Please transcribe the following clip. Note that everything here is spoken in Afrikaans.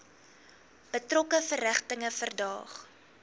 betrokke verrigtinge verdaag